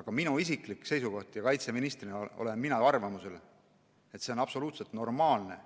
Aga minu isiklik seisukoht on ja kaitseministrina olen ma arvamusel, et see on absoluutselt normaalne,